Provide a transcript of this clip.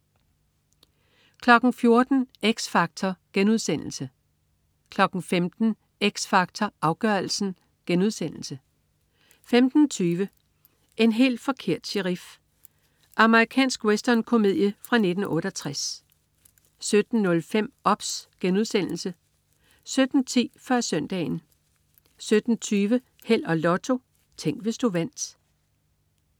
14.00 X Factor* 15.00 X Factor Afgørelsen* 15.20 En helt forkert sherif. Amerikansk westernkomedie fra 1968 17.05 OBS* 17.10 Før Søndagen 17.20 Held og Lotto. Tænk, hvis du vandt